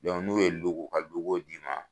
n'u ye u ka d'i ma